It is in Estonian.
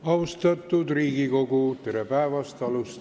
Austatud Riigikogu, tere päevast!